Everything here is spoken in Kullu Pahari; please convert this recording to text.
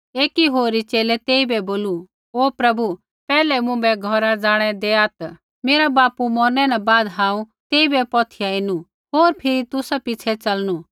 एकी होरी च़ेले तेइबै बोलू ओ प्रभु पैहलै मुँभै घौरा ज़ाणै देआत् मेरा बापू मौरनै न बाद हांऊँ तेइबै पौथिया एनु होर फिरी तुसा पिछ़ै च़लनु